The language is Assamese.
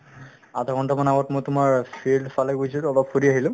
আধাঘণ্টা মান আগত মই তোমাৰ field ফালে গৈছিলো অলপ ফুৰি আহিলো